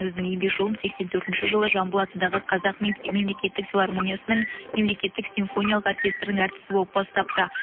өзінің еңбек жолын сексен төртінші жылы жамбыл атындағы қазақ мемлекеттік филармониясының мемлекеттік симфониялық оркестрінің әртісі болып бастапты